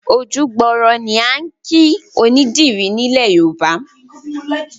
Ojú gbòòrò ni à ń kìí onídìrì ni ilẹ̀ Yorùbá.